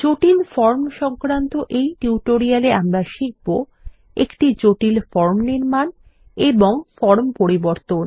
জটিল ফর্ম সংক্রান্ত এই টিউটোরিয়ালে আমরা শিখব একটি জটিল ফর্ম নির্মান এবং ফর্ম পরিবর্তন